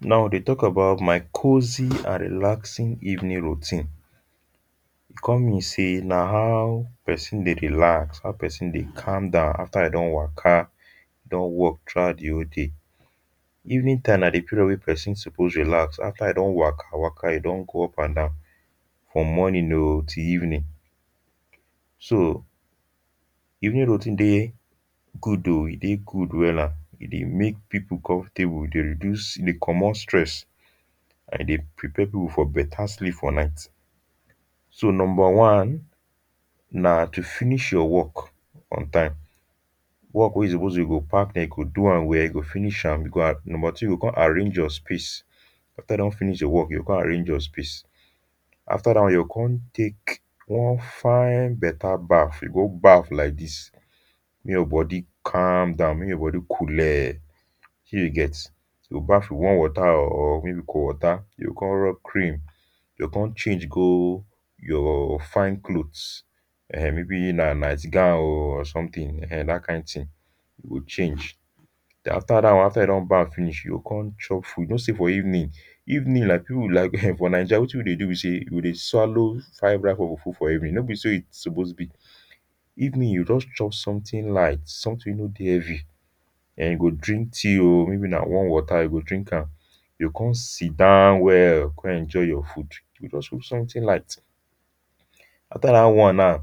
now i deh talk about my cozy and relaxing evening routine come mean say nah how person deh relax how person deh calm down after e don waka don work through out the whole day evening time nah the period weh person suppose relax after e don waka waka e don go up and down from morning o till evening so evening routine deh good o e deh good wela e deh make people comfortable e deh reduce e deh commot stress and e deh prepare people for better sleep for night so number one nah to finish your work on time work weh you suppose do you go park them you go do am well you go finish am you go a number two you go come arrange your space after you don finish the work you go come arrange your space after that one you go come take one fine better baff you go baff like this make your body calm down make your body coole um you get you go baff warm water o or maybe cool water you go come rob cream you go come change go your fine cloths um may be nah night gown um or something um that kind thing you go change after that one after you don baff finish you go come chop food you know say for evening evening like people like um for Niger wetin we deh do be say we deh swallow five wraps of fufu for evening no be so e suppose be evening you just chop something light something weh no deh heavy um you go drink tea um maybe nah warm water you go drink am you go come sit down well go come enjoy your food you go just take something lite after that one now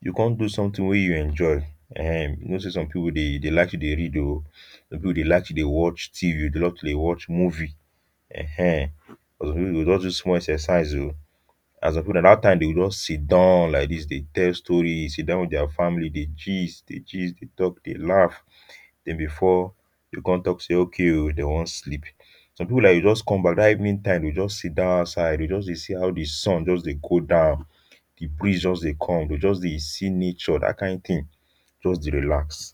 you come do something weh you enjoy um you know say some people deh like to read some people deh like to deh watch tv they love to deh watch movie um some people them go just do small exercise and to some people nah that time them go just sit down like this deh tell stories um e sit down with their family deh gist deh gist deh talk deh laugh then before them come talk say okay um them want sleep some people like they just come back that evening time they just sit down outside they just deh see how the sun just deh go down the breeze just deh come them go just deh see nature that kind thing just deh relax